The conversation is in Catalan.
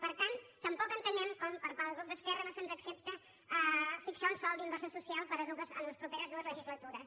per tant tampoc entenem com per part del grup d’esquerra no se’ns accepta fixar un sòl d’inversió social en les properes dues legislatures